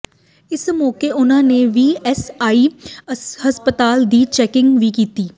ਇਸ ਮੌਕੇ ਉਨ੍ਹਾਂ ਨੇ ਈ ਐਸ ਆਈ ਹਸਪਤਾਲ ਦੀ ਚੈਕਿੰਗ ਵੀ ਕੀਤੀ